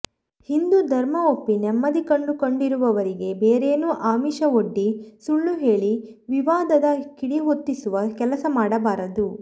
ಹಿಂದೂ ಧರ್ಮ ಒಪ್ಪಿ ನೆಮ್ಮದಿ ಕಂಡು ಕೊಂಡಿರುವವರಿಗೆ ಬೇರೇನೋ ಆಮಿಷವೊಡ್ಡಿ ಸುಳ್ಳು ಹೇಳಿ ವಿವಾದದ ಕಿಡಿಹೊತ್ತಿಸುವ ಕೆಲಸ ಮಾಡಬಾರದು